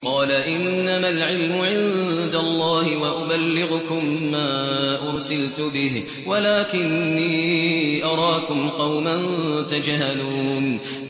قَالَ إِنَّمَا الْعِلْمُ عِندَ اللَّهِ وَأُبَلِّغُكُم مَّا أُرْسِلْتُ بِهِ وَلَٰكِنِّي أَرَاكُمْ قَوْمًا تَجْهَلُونَ